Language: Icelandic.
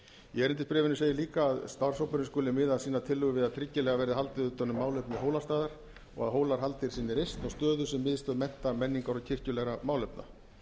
í erindisbréfinu segir líka að starfshópurinn skuli miða sínar tillögur við að tryggilega verði haldið utan um málefni hólastaðar og að hólahaldið sem er reist á stöðu sem miðstöð mennta menningar og kirkjulegra málefna síðan